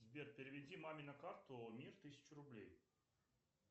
сбер переведи маме на карту мир тысячу рублей